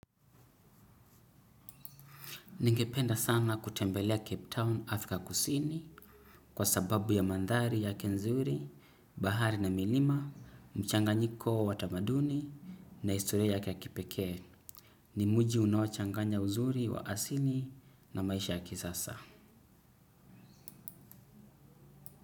Ningependa sana kutembelea Cape Town Afrika kusini kwa sababu ya mandhari yake nzuri, bahari na milima, mchanganyiko wa tamaduni na historia yake ya kipekee. Ni mji unaochanganya uzuri wa asili na maisha ya kisasa.